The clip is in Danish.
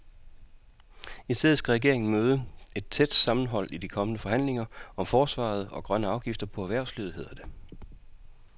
I stedet skal regeringen møde et tæt sammenhold i de kommende forhandlinger om forsvaret og grønne afgifter på erhvervslivet, hedder det.